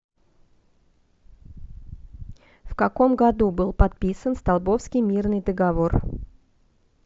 в каком году был подписан столбовский мирный договор